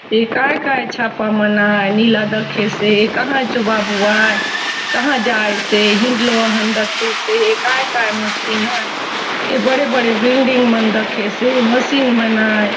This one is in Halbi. ए काय - काय छापा मन आय नीला दखेसे कहा चो बाबू आय कहा जायसे हिंनडलो असन दखेसे काय -काय मशीन आय ये बड़े - बड़े बिल्डिंग मन दखेसे मशीन मन आय।